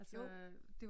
Jo